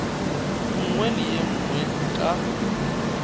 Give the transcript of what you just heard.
nngwe le ye nngwe ka